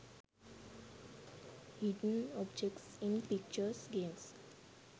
hidden objects in pictures games